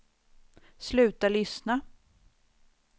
sluta lyssna